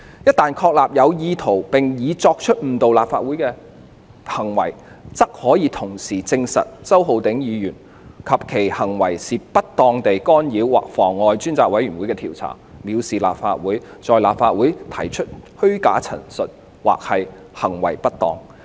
一旦確立有意圖並已作出誤導立法會的行為，則可以同時證實周議員及其行為是不當地干擾及妨礙專責委員會的調查、藐視立法會、在立法會提出虛假陳述及/或行為不當。